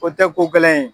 O tɛ ko gɛlɛn ye